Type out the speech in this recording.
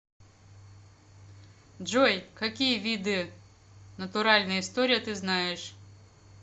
джой какие виды натуральная история ты знаешь